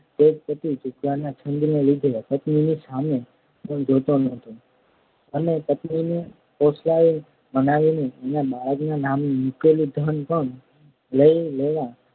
તે જ પતિ જુગારના છંદને લીધે પત્નીની સામે પણ જોતો નથી અને પત્નીને ફોસલાવી-મનાવીને એના બાળકના નામે મૂકેલું ધન પણ લઈ લેવા